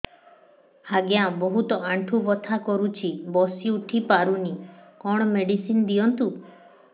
ଆଜ୍ଞା ବହୁତ ଆଣ୍ଠୁ ବଥା କରୁଛି ବସି ଉଠି ପାରୁନି କଣ ମେଡ଼ିସିନ ଦିଅନ୍ତୁ